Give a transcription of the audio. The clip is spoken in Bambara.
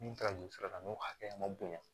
Min taara nin sira la n'o hakɛya ma bonya